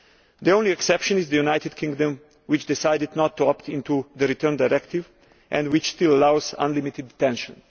The only exception is the United Kingdom, which decided not to opt into the Return Directive and which still allows unlimited detention.